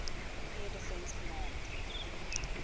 air defense command